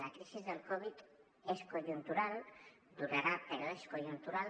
la crisi del covid és conjuntural durarà però és conjuntural